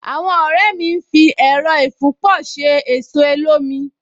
Àwọn ọ̀rẹ́ mi ń fi Ẹẹ̀rọ ìfúnpọ̀ ṣe ẹ̀so olómi